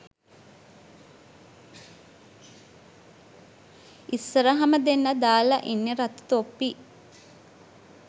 ඉස්සරහම දෙන්නා දාලා ඉන්නෙ රතු තොප්පි